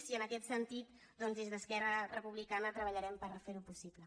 i en aquest sentit des d’esquerra republicana treballarem per fer ho possible